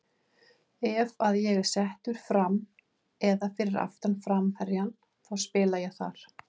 Ef að ég er settur fram eða fyrir aftan framherjann þá spila ég þar.